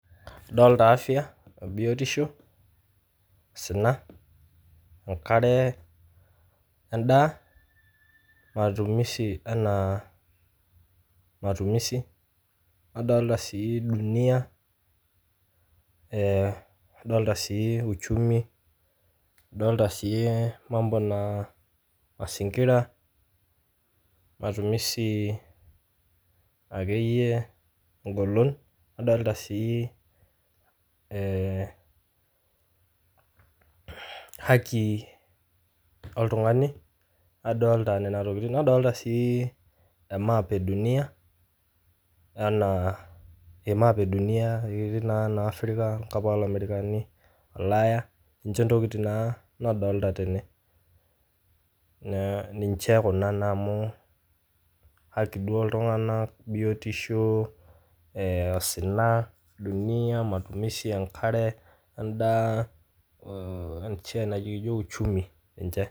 Adolita afya o biotisho, sina, enkare, endaa oo atumisi ena, nadolita sii duniya, nadolits sii uchumi nadolita sii mambo na mazingira, matumizi ake iye enkolon, nadolita sii haki oltungani, nadolita nena tokitin, nadolita sii emaap eduniya anaa emaap eduniya etiu naa ena africa enkop oo lamerikani, ulaya, ninche ntokitin naa nadolita tene, ninche kuna naa amuu haki duo ooltungana, biotisho, osina, duniya, matusmishi enkare, ondaa olcheni naji uchumi ninche.